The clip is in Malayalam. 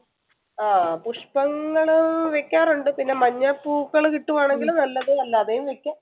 ആഹ് പുഷ്പങ്ങള് വെക്കാറുണ്ട് പിന്നെ മഞ്ഞപ്പൂക്കൽ കിട്ടുവാർന്നെങ്കിൽ നല്ലത് എല്ലാതെയും വെക്കാം